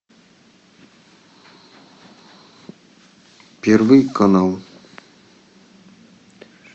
первый канал